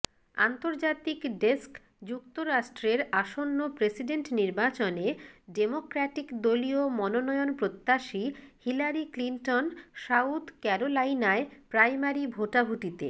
আন্তর্জাতিক ডেস্ক যুক্তরাষ্ট্রের আসন্ন প্রেসিডেন্ট নির্বাচনে ডেমোক্র্যাটিক দলীয় মনোনয়নপ্রত্যাশী হিলারি ক্লিনটন সাউথ ক্যারোলাইনায় প্রাইমারি ভোটাভুটিতে